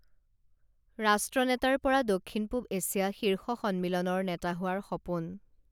ৰাষ্ট্ৰনেতাৰ পৰা দক্ষিণ পূৱ এছিয়া শীৰ্ষ সন্মিলনৰ নেতা হোৱাৰ সপোণ